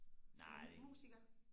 musiker